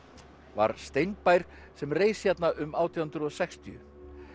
var sem reis hérna um átján hundruð og sextíu